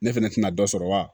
Ne fɛnɛ tɛna dɔ sɔrɔ wa